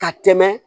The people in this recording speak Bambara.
Ka tɛmɛ